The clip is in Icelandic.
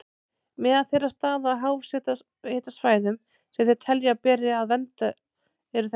Meðal þeirra staða á háhitasvæðum sem þeir telja að beri að vernda eru þessir